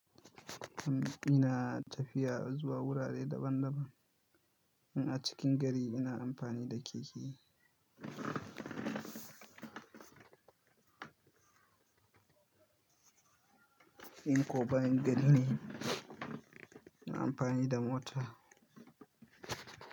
Ina tafiya zuwa wurare daban daban. In a cikin gari ina amfani da keke. In ko bayan gari ne, ina amfani da mota.